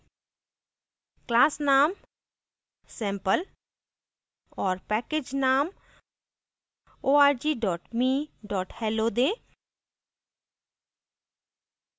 class name sample और package name org me hello दें